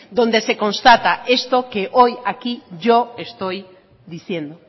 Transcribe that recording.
donde se constata esto que hoy aquí yo estoy diciendo